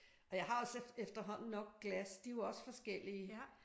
Og jeg har også efterhånden nok glas. De er jo også forskellige